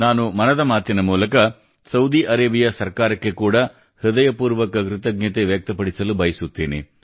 ನಾನು ಮನದ ಮಾತಿನ ಮೂಲಕ ಸೌದಿ ಅರೇಬಿಯಾ ಸರ್ಕಾರಕ್ಕೆ ಕೂಡಾ ಹೃದಯಪೂರ್ವಕ ಕೃತಜ್ಞತೆ ವ್ಯಕ್ತಪಡಿಸಲು ಬಯಸುತ್ತೇನೆ